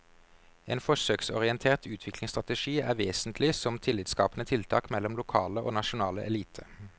En forsøksorientert utviklingsstrategi er vesentlig som tillitsskapende tiltak mellom lokale og nasjonale eliter.